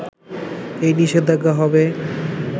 এই নিষেধাজ্ঞা হবে